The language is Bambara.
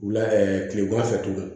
Wula kilema fɛ tuguni